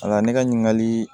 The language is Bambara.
A la ne ka ɲininkali